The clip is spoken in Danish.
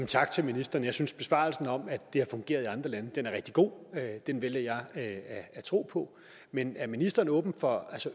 tak til ministeren jeg synes besvarelsen om at det har fungeret i andre lande er rigtig god den vælger jeg at tro på men er ministeren åben for